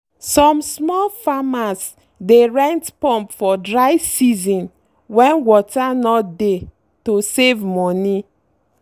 some small farmers dey rent pump for dry season when water no dey to save money.